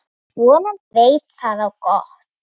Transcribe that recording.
Vonandi veit það á gott.